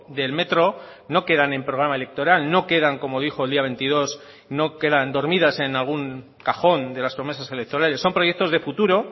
del metro no quedan en programa electoral no quedan como dijo el día veintidós no quedan dormidas en algún cajón de las promesas electorales son proyectos de futuro